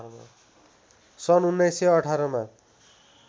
सन् १९१८ मा